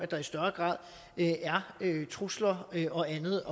der i større grad er trusler og andet